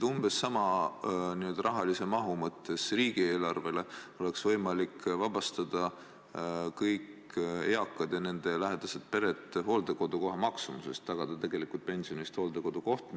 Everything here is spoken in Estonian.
Umbes sama raha eest oleks võimalik vabastada kõik eakad ja nende lähedased, pered hooldekodukoha maksumusest, tagada pensioni eest hooldekodu koht.